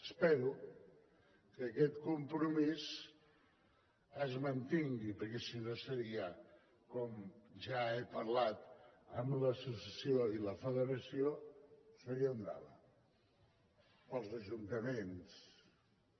espero que aquest compromís es mantingui perquè si no seria com ja he parlat amb l’associació i la federació seria un drama per als ajuntaments per als ajuntaments seria un drama